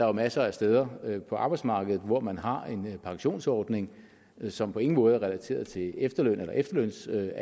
jo masser af steder på arbejdsmarkedet hvor man har en pensionsordning som på ingen måde er relateret til efterløn eller efterlønsalderen